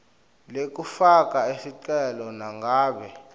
lekufaka sicelo nangabe